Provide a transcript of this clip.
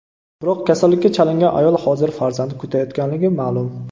Biroq kasallikka chalingan ayol hozir farzand kutayotganligi ma’lum.